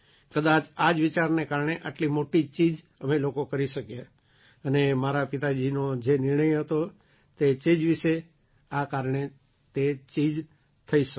કદાચ આ જ વિચારને કારણે આટલી મોટી ચીજ અમે લોકો કરી શક્યા અને મારા પિતાજીનો જે નિર્ણય હતો તે ચીજ વિશે આ કારણે તે ચીજ થઈ શકી